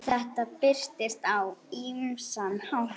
Þetta birtist á ýmsan hátt.